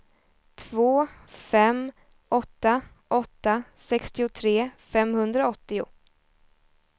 två fem åtta åtta sextiotre femhundraåttio